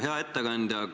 Hea ettekandja!